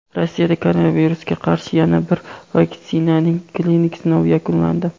Rossiyada koronavirusga qarshi yana bir vaksinaning klinik sinovi yakunlandi.